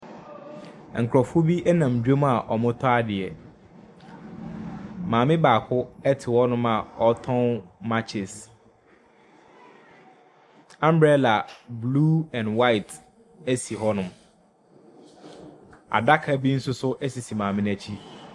Nkurofoɔ bi ɛnam dwamu a ɔmo tɔ adeɛ. Maame baako te hɔ a ɔtɔn makyes. Ambrɛla blu ɛn hwaet esi hɔnom. Adaka bi nso so esi maame n'akyi.